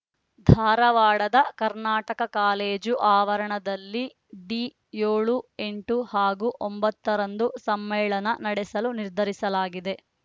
ಧಾರವಾಡದ ಕರ್ನಾಟಕ ಕಾಲೇಜು ಆವರಣದಲ್ಲಿ ಡಿಸೆಂಬರ್ ಏಳು ಎಂಟು ಹಾಗೂ ಒಂಬತ್ತರಂದು ಸಮ್ಮೇಳನ ನಡೆಸಲು ನಿರ್ಧರಿಸಲಾಗಿದೆ